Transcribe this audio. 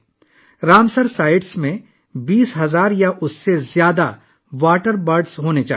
Ramsar sites میں 20,000 یا اس سے زیادہ آبی پرندے ہونے چاہئیں